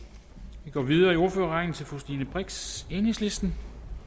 vi går videre i ordførerrækken til fru stine brix enhedslisten